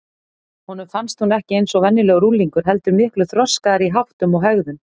Honum fannst hún ekki eins og venjulegur unglingur heldur miklu þroskaðri í háttum og hegðun.